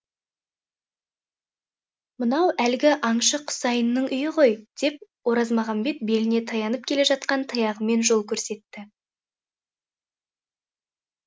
мынау әлгі аңшы құсайынның үйі ғой деп оразмағамбет беліне таянып келе жатқан таяғымен жол көрсетті